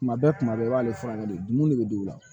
Kuma bɛɛ kuma bɛɛ i b'ale furakɛ de dumuni de be digi u la